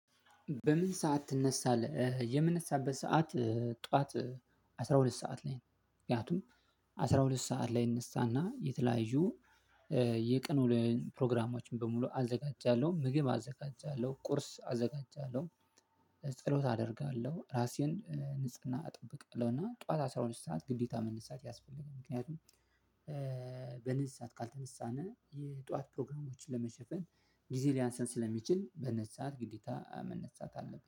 በምን ሰዓት ትነሳለህ? የምነሳበት ሰዓት ጠዋት አስራ ሁለት ሰዓት ላይ ነው። ምክንያቱም አስራ ሁለት ሰዓት ላይ እነሳና የተለያዩ የቀን ውሎየን ፕሮግራሞችን በሙሉ አዘጋጃለሁ ምግብ አዘጋጃለሁ ቁርስ አዘጋጃለሁ። ጸሎት አደርጋለሁ ራሴን ንጽህና እጠብቃለሁና ጠዋት አስራ ሁለት ሰዓት ግዴታ መንሳት ያስፈልጋል። ምክንያቱም በነዚህ ሰዓት ካልተነሳነ የጧት ፕሮግራሞችን ለመሸፈን ጊዜ ሊያንሰን ስለሚችል በነዚህ ሰዓት ግዴታ መነሳት አለብን